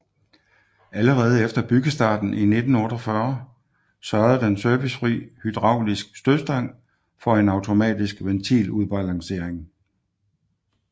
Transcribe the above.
Allerede efter byggestarten i 1948 sørgede den servicefri hydraulisk stødstang for en automatisk ventiludbalancering